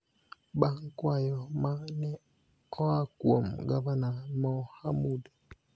bang� kwayo ma ne oa kuom Gavana Mohamud.